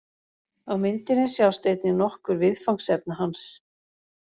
Á myndinni sjást einnig nokkur viðfangsefna hans.